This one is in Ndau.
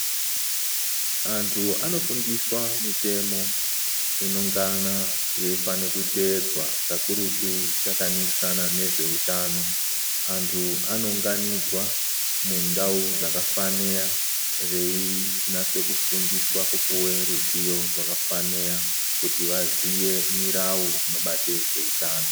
Antu anofundiswa mitemo inongana yeifane kuteedzwa kakurutu takaningisana nezveutano. Antu anounganidzwa mundau dzakafaniya veinase kufundiswa kupuwe ruzivo rwakafaniya kuti vaziye mirau inobate zveutano.